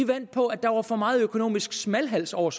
vandt på at der var for meget økonomisk smalhals over